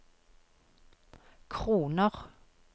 kroner